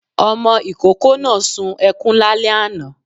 Ọmọ ikoko náá suǹ ekuń lálẹ aná